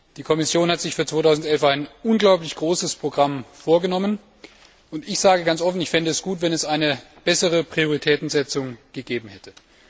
Die Kommission hat sich für 2011 ein unglaublich großes Programm vorgenommen, und ich sage ganz offen, dass ich es gut fände, wenn es eine bessere Prioritätensetzung gegeben hätte.